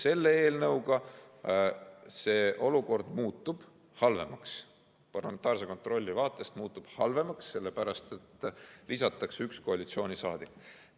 Selle eelnõuga muutub olukord halvemaks, parlamentaarse kontrolli vaatest muutub see halvemaks, sellepärast et lisatakse üks koalitsiooniliige.